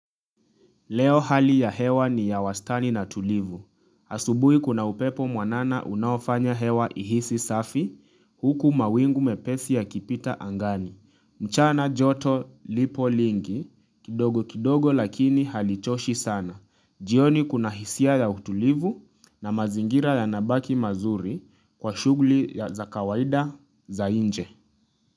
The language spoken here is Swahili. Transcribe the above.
Leo hali ya hewa ni ya wastani na tulivu. Asubuhi kuna upepo mwanana unaofanya hewa ihisi safi huku mawingu mepesi ya kipita angani. Mchana joto lipo lingi, kidogo kidogo lakini halichoshi sana. Jioni kuna hisia ya utulivu na mazingira yanabaki mazuri kwa shughuli za kawaida za nje.